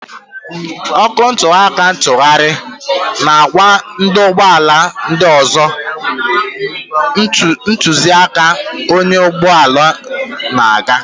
Ọkụ nnutuaka ntughari na-agwa ndị ọkwọ ụgbọ ala ndị ọzọ, ntụziaka onye ọkwọ ụgbọ ala na-aga.